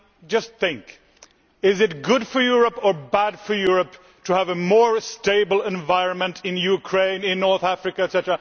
Just think is it good or bad for Europe to have a more stable environment in Ukraine, in North Africa, etc.?